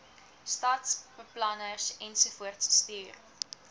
stadsbeplanners ensovoorts stuur